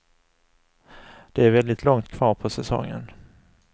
Det är väldigt långt kvar på säsongen.